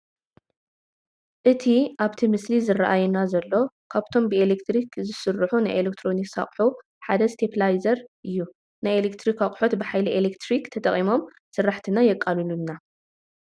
እቲ ኣብቲ ምስሊ ዝራኣየና ዘሎ ካብቶም ብኤሌክትሪክ ዝሰርሑ ናይ ኤሌክትሮኒክስ ኣቕሑት ሓደ ስቴኘላይዘር እዩ፡፡ ናይ ኤሌክትሪክ ኣቕሑት ብሓይሊ ኤሌክትሪክ ተጠቒሞም ስራሕትና የቃሉሉና፡፡